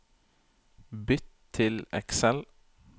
Bytt til Excel